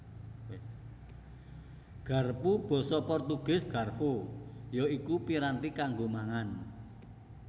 Garpu Basa Portugis Garfo ya iku piranti kanggo mangan